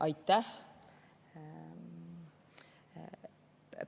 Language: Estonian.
Aitäh!